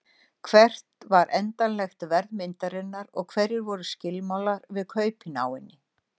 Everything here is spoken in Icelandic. Hvert var endanlegt verð myndarinnar og hverjir voru skilmálar við kaup á henni?